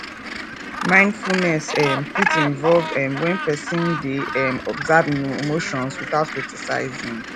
mindfulness um fit involve um when person dey um observe im emotions without criticizing